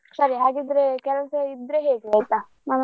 ಸರಿ ಹಾಗಿದ್ರೆ ಕೆಲ್ಸ ಇದ್ರೆ ಹೇಳಿ ಆಯ್ತಾ .